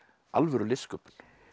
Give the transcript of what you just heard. alvöru listsköpun